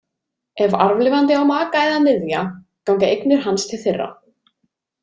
Ef arfleifandi á maka eða niðja ganga eignir hans til þeirra.